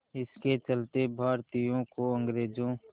इसके चलते भारतीयों को अंग्रेज़ों